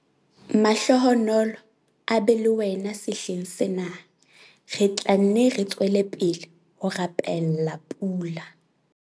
Mahlohonolo a be le wena sehleng sena - re tla nne re tswele pele ho rapella pula!